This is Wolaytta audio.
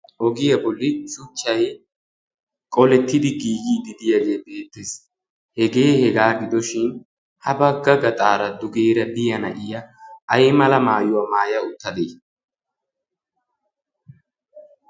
ogiyaa bolli suchchai qolettidi giiyii didiyaagee beettees. hegee hegaa gidoshin ha bagga gaxaara dugeera diyana iya ay mala maayuwaa maaya uttadee?